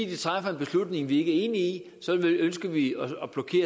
de træffer en beslutning vi ikke i så ønsker vi